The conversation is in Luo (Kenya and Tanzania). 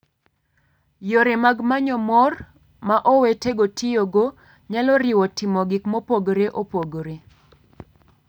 Yore mag manyo mor ma owetego tiyogo nyalo riwo timo gik mopogore opogore.